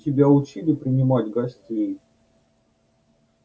тебя учили принимать гостей